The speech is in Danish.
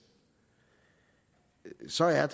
så er